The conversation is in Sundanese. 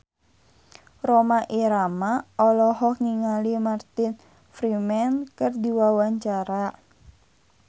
Rhoma Irama olohok ningali Martin Freeman keur diwawancara